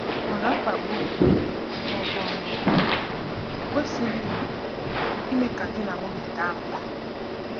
Mana mkpagbu, ma ọ bụ ọnwụnwa, ekwesịghị ime ka di na nwunye daa mbà.